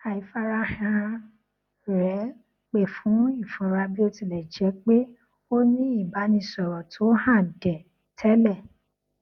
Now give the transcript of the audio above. àìfarahàn rẹ pè fún ìfura bí ó ti lẹ jjẹ pé ó ní ìbánisọrọ tó hànde tẹlẹ